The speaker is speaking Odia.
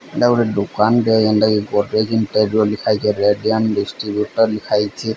ଏଟା ଗୋଟେ ଦୋକାନ ଟେ ଯେନ୍ ଟା କି ଗର୍ଡେଜିନ୍ ଟାଇପ୍ ର ଲେଖାଯାଇଚି। Red dam distributor ଲିଖାଯାଇଚି।